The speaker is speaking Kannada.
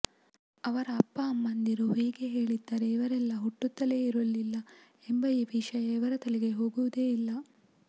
ಅವರ ಅಪ್ಪ ಅಮ್ಮಂದಿರು ಹೀಗೆ ಹೇಳಿದ್ದರೆ ಇವರೆಲ್ಲ ಹುಟ್ಟುತ್ತಲೇ ಇರಲಿಲ್ಲ ಎಂಬ ವಿಷಯ ಇವರ ತಲೆಗಳಿಗೆ ಹೋಗುವುದೇ ಇಲ್ಲ